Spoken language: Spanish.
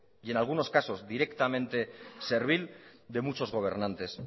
y en algunos casos directamente servil de muchos gobernantes